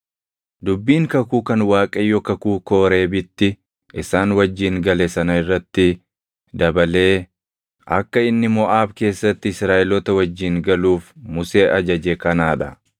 Dubbiin kakuu kan Waaqayyo kakuu Kooreebitti isaan wajjin gale sana irratti dabalee akka inni Moʼaab keessatti Israaʼeloota wajjin galuuf Musee ajaje kanaa dha.